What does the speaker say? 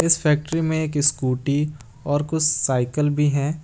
इस फैक्ट्री में एक स्कूटी और कुछ साइकल भी है।